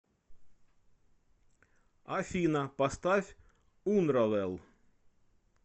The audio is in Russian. афина поставь унравел